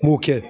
N b'o kɛ